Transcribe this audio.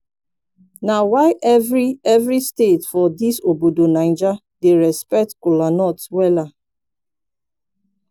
na why evri evri state for dis obodo naija dey respekt kolanut wella